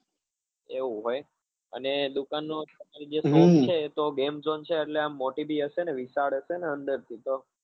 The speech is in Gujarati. એવું હોય અને દુકાન નું જે એ તો game zone છે એટલે આમ મોટી બી હશે ને વિશાળ હશે ને અંદર થી તો?